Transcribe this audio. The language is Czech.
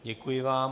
Děkuji vám.